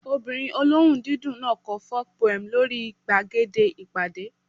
Ọmọbìnrin olóhùn dídùn náà kọ folk poem lórí gbàgede ìpàdé